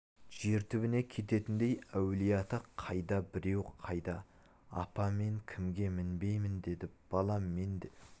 жер түбіне кететіндей әулиеата қайда біреу қайда апа мен кемеге мінбеймін деді балам мен де